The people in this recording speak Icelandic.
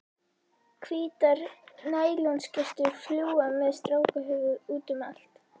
Hvítar nælonskyrtur fljúga með strákahöfuð útum allt.